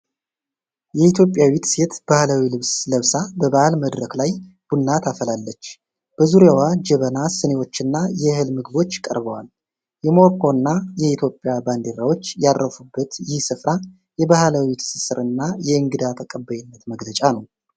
የኢትዮጵያዊት ሴት ባህላዊ ልብስ ለብሳ በበዓል መድረክ ላይ ቡና ታፈላለች። በዙሪያዋ ጀበና፣ ስኒዎችና የእህል ምግቦች ቀርበዋል። የሞሮኮና የኢትዮጵያ ባንዲራዎች ያረፉበት ይህ ስፍራ የባህላዊ ትስስርና የእንግዳ ተቀባይነት መገለጫ ነው።